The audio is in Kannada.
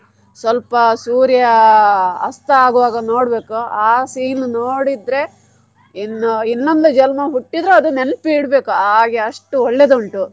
ಸ್ವಲ್ಪ ಸೂರ್ಯ ಅಸ್ತ ಆಗುವಾಗ ನೋಡ್ಬೇಕು ಆ scene ನೋಡಿದ್ರೆ ಇನ್ನೂ ಇನ್ನೊಂದು ಜನ್ಮ ಹುಟ್ಟಿದ್ರು ನೆನ್ಪ್ ಇಡ್ಬೇಕು ಹಾಗೆ ಅಷ್ಟು ಒಳ್ಳೆದುಂಟು.